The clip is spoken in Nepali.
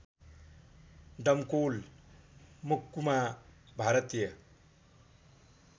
डमकोल मह्कुमा भारतीय